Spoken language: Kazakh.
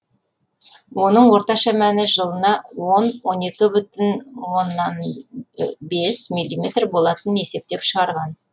оның орташа мәні жылына он он екі бүтін оннан бес миллиметр болатынын есептеп шығарған